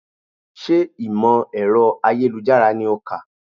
Sé ìmọ̀ ẹ̀rọ ayélujára ni o kà?